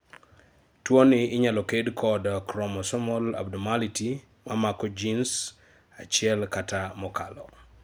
tuwoni inyalo kel kod chromosomal abnormality mamako genes achiel kata mokalo